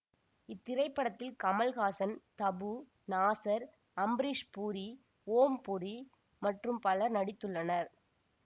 இத்திரைப்படத்தில் கமல்ஹாசன் தபூ நாசர் அம்ரீஷ் புரி ஓம் பூரி மற்றும் பலர் நடித்துள்ளனர்